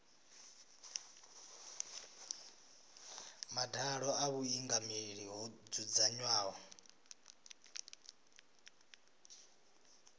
madalo a vhuingameli ho dzudzanywaho